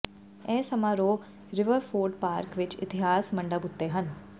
ਇਹ ਸਮਾਰੋਹ Riverford park ਵਿਚ ਇਤਿਹਾਸ ਮੰਡਪ ਉੱਤੇ ਹਨ